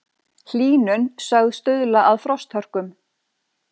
Hlýnun sögð stuðla að frosthörkum